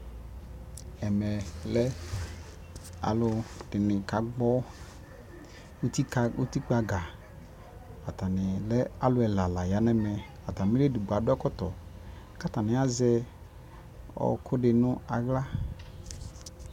ʒmmʒlʒ alʋʒdini kagbɔ ʋtikpaga, atani lʒ alʋʒ ʒlaa layanʋ ʒmmʒ, atamili ʒdigbɔ adu ʒkɔtɔ, kʋ atani azʒʒ ɔkʋʋdi nʋ ala